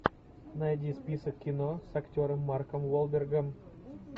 найди список кино с актером марком уолбергом